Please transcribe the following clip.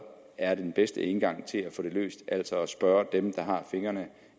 er den bedste indgang til at få det løst altså at spørge dem der har fingrene